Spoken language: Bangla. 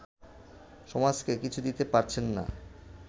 সমাজকে কিছু দিতে পারছেন না